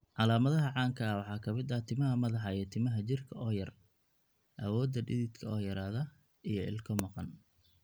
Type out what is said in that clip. Calaamadaha caanka ah waxaa ka mid ah timaha madaxa iyo timaha jirka oo yar, awoodda dhididka oo yaraada, iyo ilko maqan.